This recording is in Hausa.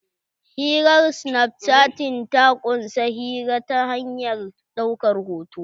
Hirar snapchatting ta ƙunsa hira ta hanyar ɗaukar hoto.